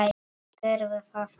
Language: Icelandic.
Gerðu það, Tóti!